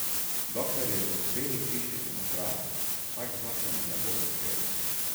Dokler je v Beli hiši demokrat, tak zakon ne bo uspel.